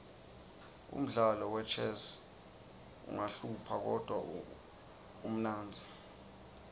umdlalo wechess uqahlupha kodruh umnendti